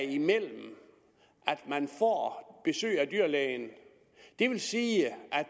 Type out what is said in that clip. imellem at man får besøg af dyrlægen det vil sige